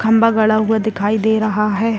खंभा गड़ा हुआ दिखाई दे रहा है।